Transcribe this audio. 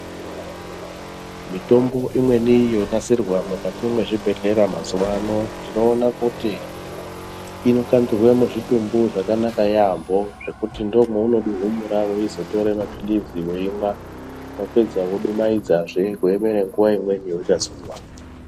Mitombo imweni yonasirwa mukati mwezvibhedhlera mazuvaano tinoona kuti inokandirwa muzvitumbu zvakanaka yamho zvekuti ndomwaunoduhumura weizotora maphirizi weimwa wapedza wodumhaidzazve wakaemera nguva imweni yaunozomwa.